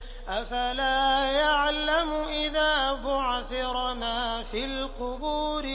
۞ أَفَلَا يَعْلَمُ إِذَا بُعْثِرَ مَا فِي الْقُبُورِ